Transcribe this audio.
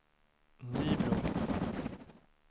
Nybro